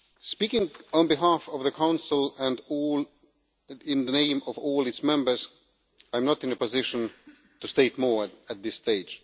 Speaking on behalf of the Council and in the name of all its members, I am not in a position to state more at this stage.